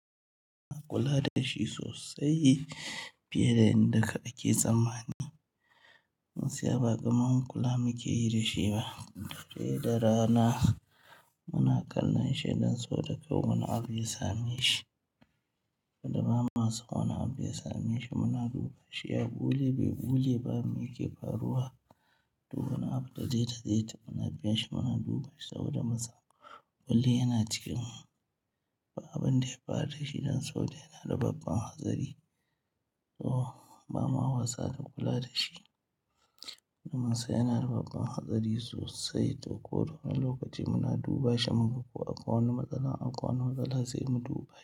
Muna kula da shi sosai fiye da yadda aka yi tsammani. Gaskiya baƙara mun kula muke yi da shi ba. Dare da rana muna kallon shi don so da kar wani abu ya sa mashi. Kada ba ma san wani abu ya sameshi, muna duba shi ya ɓule bai ɓule ba, me yake faruwa. Duk wani abu da dai ta zai ta muna biya shi muna duba shi saboda masa, kullum yana cikin mu. Ba abin da ya faru da shi don saboda yana da babbann hatsari. To ba ma wasa da kula da shi. Duk munsan yana da babban hatsari sosai to ko da wane lokaci muna duba shi mu ga ko akwai wani matsala, akwai wani matsala sai mu duba shi.